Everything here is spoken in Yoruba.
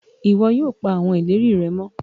iwọ yóò pa awọn ìlérí rẹ mọ